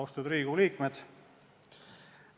Austatud Riigikogu liikmed!